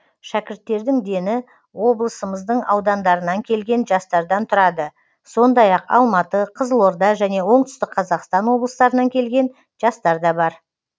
шәкірттердің дені облысымыздың аудандарынан келген жастардан тұрады сондай ақ алматы қызылорда және оңтүстік қазақстан облыстарынан келген жастар да бар